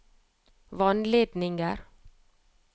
vannledninger